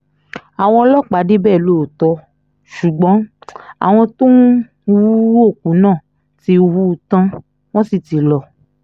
àwọn ọlọ́pàá débẹ̀ lóòótọ́ ṣùgbọ́n àwọn tó ń hu òkú náà ti hù ú tán wọ́n sì ti lọ